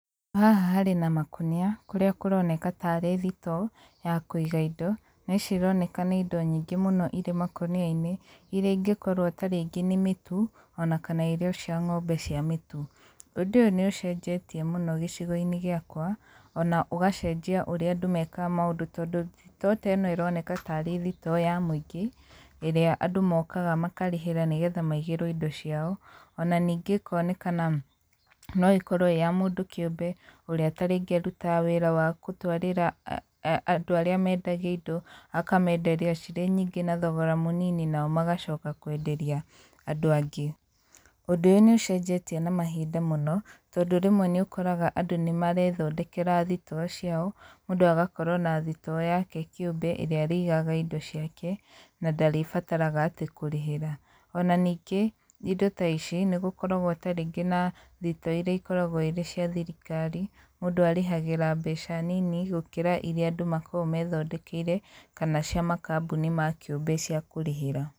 Haha harĩ na makũnia, kũrĩa kũroneka tarĩ thitoo ya kũiga indo. Na ici ironeka nĩ indo nyingĩ mũno irĩ makũnia-inĩ, irĩa ingĩkorwo tarĩngĩ nĩ mĩtu, ona kana irio cia ng'ombe cia mĩtu. Ũndũ ũyũ nĩ ũcenjetie mũno gĩcigo-inĩ gĩakwa, ona ũgacenjia ũrĩa andũ mekaga maũndũ tondũ, thitoo ta ĩno ĩroneka tarĩ thitoo ya mũingĩ, ĩrĩa andũ mokaga makarĩhĩra nĩgetha maigĩrwo indo ciao, ona ningĩ ĩkonekana no ĩkorwo ĩĩ ya mũndũ kĩũmbe ũrĩa tarĩngĩ arutaga wĩra wa gũtwarĩra andũ arĩa mendagia indo, akamenderia cirĩ nyingĩ na thogora mũnini nao magacoka kwenderia andũ angĩ. Ũndũ ũyũ nĩ ũcenjetie na mahinda mũno, tondũ rĩmwe nĩ ũkoraga andũ nĩ marethondekera thitoo ciao, mũndũ agakorwo na thitoo yake kĩũmbe ĩrĩa arĩigaga indo ciake na ndarĩbataraga atĩ kũrĩhĩra. Ona ningĩ, indo ta ici nĩ gũkoragwo tarĩngĩ na thitoo irĩa ikoragwo irĩ cia thirikari, mũndũ arĩhagĩra mbeca nini gũkĩra irĩa andũ makoragwo methondekeire kana cia makambuni ma kĩũmbe cia kũrĩhĩra.